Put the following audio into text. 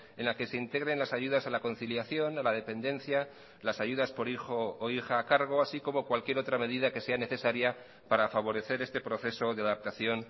en la que se integren las ayudas a la conciliación a la dependencia las ayudas por hijo o hija a cargo así como cualquier otra medida que sea necesaria para favorecer este proceso de adaptación